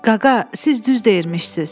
Qaqa, siz düz deyirmişsiz.